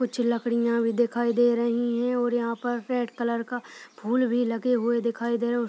कुछ लकड़ियाँ भी दिखाई दे रही हैं और यहाँ पर रेड कलर का फूल भी लगे हुए दिखाई दे रहे --